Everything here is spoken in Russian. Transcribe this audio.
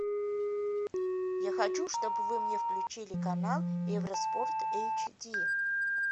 я хочу чтобы вы мне включили канал евроспорт эйчди